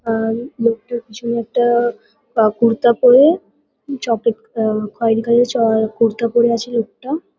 আর লোকটার পিছনে একটা-আ পা কুর্তা পরে চপেক আ খয়েরী কালার -এর চ এ কুর্তা পরে আছে লোকটা।